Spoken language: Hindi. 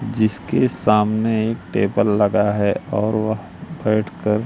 जिसके सामने एक टेबल लगा है और वह बैठकर--